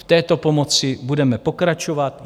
V této pomoci budeme pokračovat.